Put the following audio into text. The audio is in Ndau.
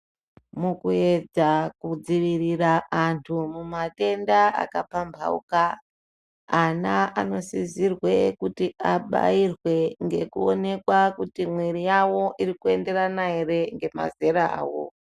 Mukuedza kudzivirira vantu mumatenda akapambauka ana anosisirwe abairwe ngekuonekwa kuti mwiri yavo iri kuenderana ere nemazera avo.